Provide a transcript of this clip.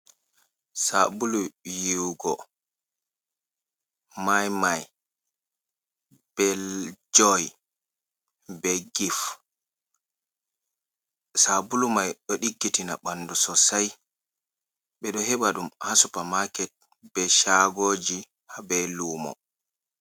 Sabulu yiwugo, mai mai, bel joi, be gif, sabulu mai ɗo ɗiggitina ɓandu sosai, ɓe ɗo heɓa ɗum ha supamaket be chagoji ha be lumo.